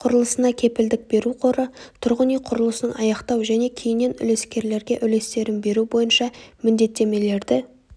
құрылысына кепілдік беру қоры тұрғын үй құрылысын аяқтау және кейіннен үлескерлерге үлестерін беру бойынша міндеттемелерді